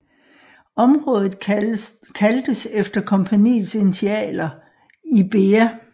Området kaldtes efter kompagniets initialer Ibea